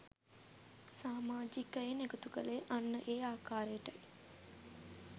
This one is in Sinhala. සාමාජිකයින් එකතු කළේ අන්න ඒ ආකාරටයි